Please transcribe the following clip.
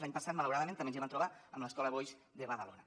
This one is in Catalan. l’any passat malauradament també ens hi vam trobar amb l’escola boix de badalona